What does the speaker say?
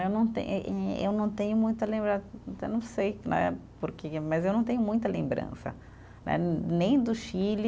Eu não tem e eh, eu não tenho muita lembra, então não sei né, porque, mas eu não tenho muita lembrança, né nem do Chile,